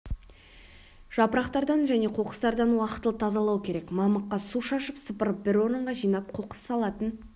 жапырақтардан және қоқыстардан уақытылы тазалау керек мамыққа су шашып сыпырып бір орынға жинап қоқыс салатын